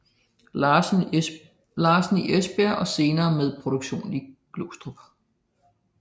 Larsen i Esbjerg og senere med produktion i Glostrup